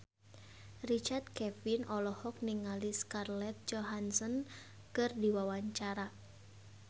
Richard Kevin olohok ningali Scarlett Johansson keur diwawancara